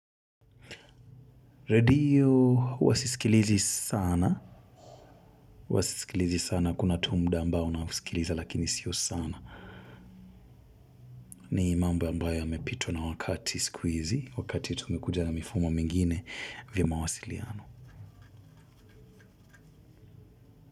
Redio huwa sisikilizi sana. Huwa sisikilizi sana. Kuna tu mda ambao unausikiliza lakini sio sana. Ni imamba ambayo ya mepitwa na wakati sikuizi. Wakati tu umekuja na mifumo mingine vya mawasiliano.